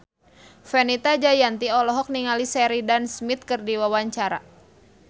Fenita Jayanti olohok ningali Sheridan Smith keur diwawancara